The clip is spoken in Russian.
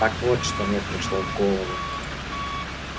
так вот что мне пришло в голову